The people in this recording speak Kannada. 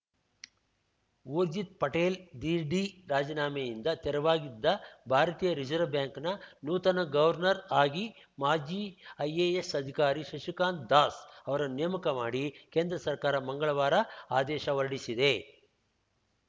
ಊರ್ಜಿತ್‌ ಪಟೇಲ್‌ ದಿಢೀ ರಾಜೀನಾಮೆಯಿಂದ ತೆರವಾಗಿದ್ದ ಭಾರತೀಯ ರಿಸರ್ವ್ ಬ್ಯಾಂಕ್‌ನ ನೂತನ ಗವರ್ನರ್‌ ಆಗಿ ಮಾಜಿ ಐಎಎಸ್‌ ಅಧಿಕಾರಿ ಶಶಿಕಾಂತ್‌ ದಾಸ್‌ ಅವರನ್ನು ನೇಮಕ ಮಾಡಿ ಕೇಂದ್ರ ಸರ್ಕಾರ ಮಂಗಳವಾರ ಆದೇಶ ಹೊರಡಿಸಿದೆ